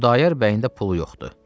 Xudayar bəyin də pulu yoxdur.